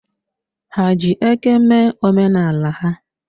Ha ji eke mee omenala ha.